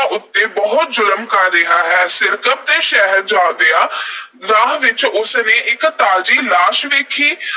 ਉੱਤੇ ਬਹੁਤ ਜ਼ੁਲਮ ਕਰ ਰਿਹਾ ਹੈ। ਸਿਰਕੱਪ ਦੇ ਸ਼ਹਿਰ ਜਾਂਦਿਆਂ ਰਾਹ ਵਿੱਚ ਉਸ ਨੇ ਇਕ ਤਾਜ਼ੀ ਲਾਸ਼ ਵੇਖੀ।